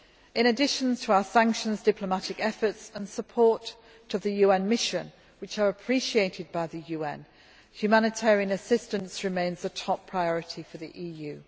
In addition to our sanctions, diplomatic efforts and support to the UN Mission, which are appreciated by the UN, humanitarian assistance remains a top priority for the EU.